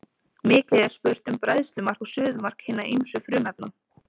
Mikið er spurt um bræðslumark og suðumark hinna ýmsu frumefna.